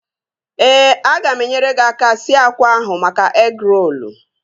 Ee, aga m enyere gị aka sie akwa ahụ maka egịrolu